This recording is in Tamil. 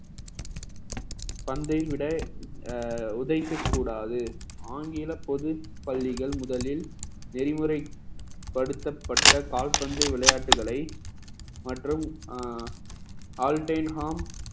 பந்தை விட அஹ் உதைக்கக் கூடாது ஆங்கில பொது பள்ளிகள் முதலில் நெறிமுறைப்படுத்தப்பட்ட கால்பந்து விளையாட்டுகளை மற்றும் அஹ் all time harm